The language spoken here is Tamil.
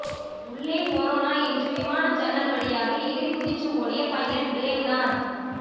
உள்ளே கொரோனா என்று விமான ஜன்னல் வழியாக எகிறி குதிச்சு ஓடிய பைலட் பிரேம் நாத்